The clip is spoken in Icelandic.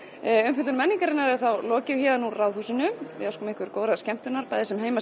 umfjöllun menningarinnar er þá lokið héðan úr Ráðhúsinu við óskum ykkur góðrar skemmtunar bæði sem heima